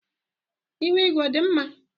Ihu igwe ọ dị mma?